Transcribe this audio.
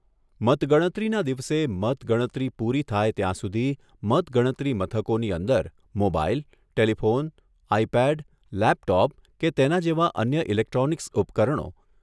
મતગણતરીના દિવસે મતગણતરી પૂરી થાય ત્યાં સુધી મતગણતરી મથકોની અંદર મોબાઇલ, ટેલિફોન, આઈપેડ, લેપટોપ કે તેના જેવા અન્ય ઇલેક્ટ્રોનિક્સ ઉપકરણો